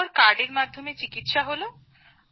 আর তারপর কার্ডের মাধ্যমে চিকিৎসা হল